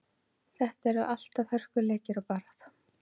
Þetta eru alltaf hörkuleikir og barátta.